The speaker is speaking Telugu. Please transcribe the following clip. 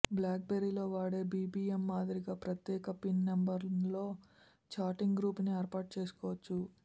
బ్లాక్బెర్రీలో వాడే బీబీఎం మాదిరిగా ప్రత్యేక పిన్ నెంబర్తో ఛాటింగ్ గ్రూపుని ఏర్పాటు చేసుకోవచ్చు